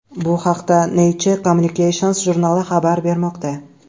Bu haqda Nature Communications jurnali xabar bermoqda .